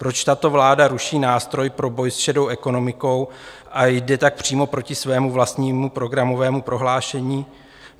Proč tato vláda ruší nástroj pro boj s šedou ekonomikou a jde tak přímo proti svému vlastnímu programovému prohlášení?